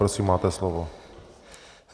Prosím, máte slovo.